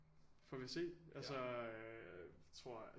Få vi se altså øh tror jeg